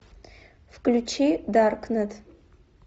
включи даркнет